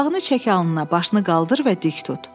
Papağını çək alnına, başını qaldır və dik tut.